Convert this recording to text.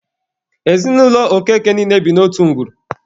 Ezinụlọ Okeke niile bi n'otu ngwuru.